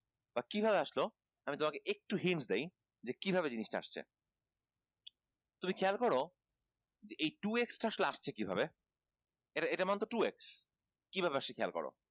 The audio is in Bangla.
বা কিভাবে আসলো আমি তোমাকে একটু hint দেই যে কিভাবে জিনিস টা আসছে তুমি খেয়াল করো এই two x আসলে আসছে কিভাবে এটার এটার মানে তো two x কিভাবে আসছে খেয়াল করো